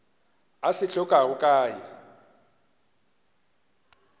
a se hlokago ka ye